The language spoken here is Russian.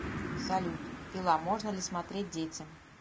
салют пила можно ли смотреть детям